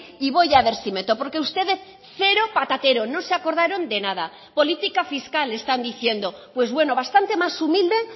y voy a ver si meto porque ustedes cero patatero no se acordaron de nada política fiscal están diciendo pues bueno bastante más humilde